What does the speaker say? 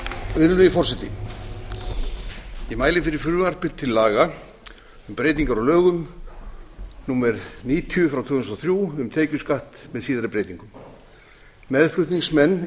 virðulegi forseti ég mæli fyrir frumvarpi til laga um breytingar á lögum númer níutíu tvö þúsund og þrjú um tekjuskatt með síðari breytingum meðflutningsmenn